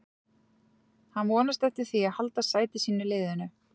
Hann vonast eftir því að halda sæti sínu í liðinu.